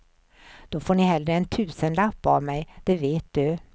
Då får ni hellre en tusenlapp av mig, det vet du.